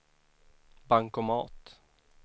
bankomat